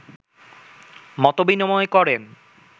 মতবিনিময় করেন